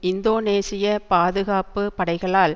இந்தோனேஷிய பாதுகாப்பு படைகளால்